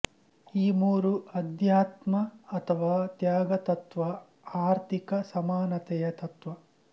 ಈ ಮೂರು ಅಧ್ಯಾತ್ಮ ಅಥವಾ ತ್ಯಾಗತತ್ತ್ವ ಆರ್ಥಿಕ ಸಮಾನತೆಯ ತತ್ತ್ವ